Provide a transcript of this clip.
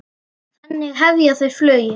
Þannig hefja þau flugið.